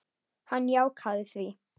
Hann jánkaði því.